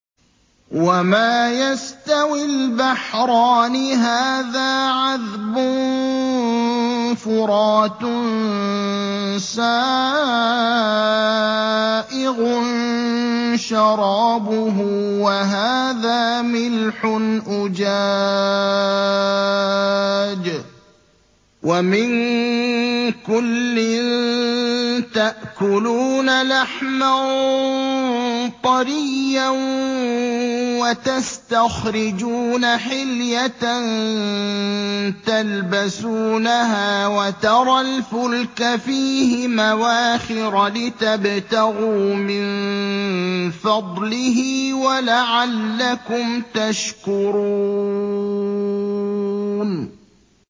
وَمَا يَسْتَوِي الْبَحْرَانِ هَٰذَا عَذْبٌ فُرَاتٌ سَائِغٌ شَرَابُهُ وَهَٰذَا مِلْحٌ أُجَاجٌ ۖ وَمِن كُلٍّ تَأْكُلُونَ لَحْمًا طَرِيًّا وَتَسْتَخْرِجُونَ حِلْيَةً تَلْبَسُونَهَا ۖ وَتَرَى الْفُلْكَ فِيهِ مَوَاخِرَ لِتَبْتَغُوا مِن فَضْلِهِ وَلَعَلَّكُمْ تَشْكُرُونَ